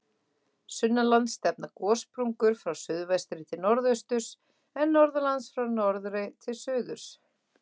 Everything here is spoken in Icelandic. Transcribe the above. Sunnanlands stefna gossprungur frá suðvestri til norðausturs, en norðanlands frá norðri til suðurs.